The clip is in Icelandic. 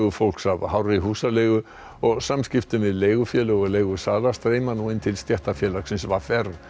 fólks af hárri húsaleigu og samskiptum við leigufélög og leigusala streyma nú inn til stéttarfélagsins v r